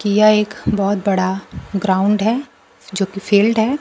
यह एक बहुत बड़ा ग्राउंड है जो कि फील्ड है।